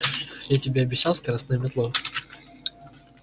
я тебе обещал скоростную метлу